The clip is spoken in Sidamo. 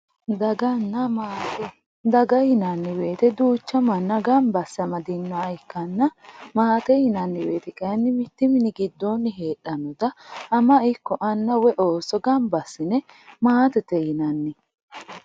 Dagana maate daga yinani woyite duucha manna ganba aase amadinoha ikanna maate yinani woyite mittu mini gido ama woy ana ooso maatete yine woshinani